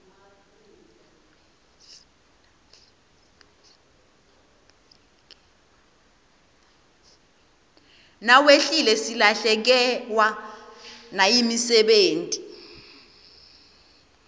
nawehlile silahlekewa nayimisebeti